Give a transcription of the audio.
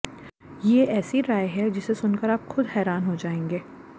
ये ऐसी राय है जिसे सुनकर आप खुद हैरान हो जायेंगे